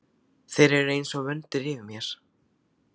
Þeir eru einsog vöndur yfir mér.